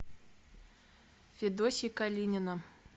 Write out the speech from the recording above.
федосья калинина